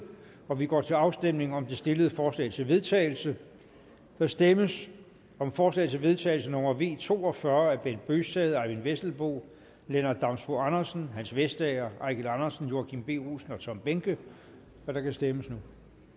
og vi går til afstemning om det stillede forslag til vedtagelse der stemmes om forslag til vedtagelse nummer v to og fyrre af bent bøgsted eyvind vesselbo lennart damsbo andersen hans vestager eigil andersen joachim b olsen og tom behnke og der kan stemmes nu